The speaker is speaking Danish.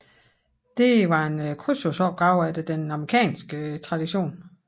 Det var en krydsordsopgave efter den amerikanske tradition